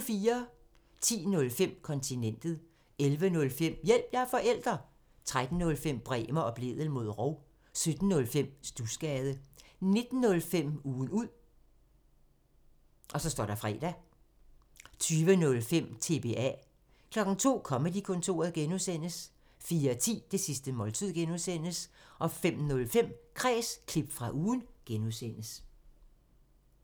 10:05: Kontinentet 11:05: Hjælp – jeg er forælder! 13:05: Bremer og Blædel mod rov 17:05: Studsgade 19:05: Ugen ud (fre) 20:05: TBA 02:00: Comedy-kontoret (G) 04:10: Det sidste måltid (G) 05:05: Kræs – klip fra ugen (G)